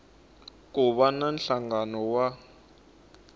ku va na nhlangano wa